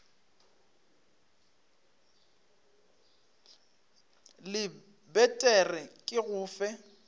lebet re ke go fe